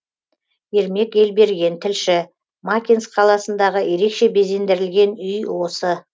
ермек елберген тілші макинск қаласындағы ерекше безендірілген үй осы